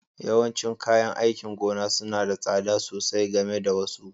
Yawancin kayan aikin gona suna da tsada sosai game da wasu